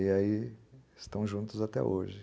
E aí estão juntos até hoje.